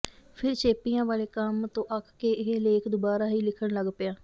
ਫਿਰ ਚੇਪੀਆਂ ਵਾਲੇ ਕੰਮ ਤੋਂ ਅੱਕ ਕੇ ਇਹ ਲੇਖ ਦੁਬਾਰਾ ਹੀ ਲਿਖਣ ਲੱਗ ਪਿਆ